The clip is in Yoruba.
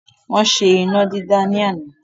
Wọ́n ṣe iná dídá ni àná.